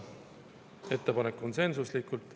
Ettepanek konsensuslikult.